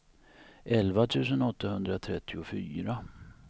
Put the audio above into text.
elva tusen åttahundratrettiofyra